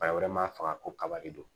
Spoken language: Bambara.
Bana wɛrɛ ma faga ko kaba de don